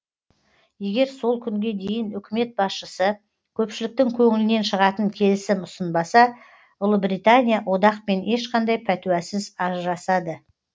егер сол күнге дейін үкімет басшысы көпшіліктің көңілінен шығатын келісім ұсынбаса ұлыбритания одақпен ешқандай пәтуасыз ажырасады